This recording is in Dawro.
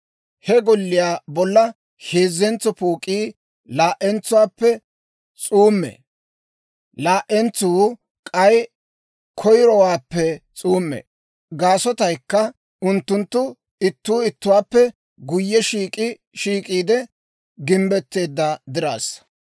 He golliyaa bolla heezzentso pook'ii laa"entsuwaappe s'uumee; laa"entsuu k'ay koyiruwaappe s'uumee. Gaasotaykka unttunttu ittuu ittuwaappe guyye shiik'i shiik'iide gimbbetteedda diraassa.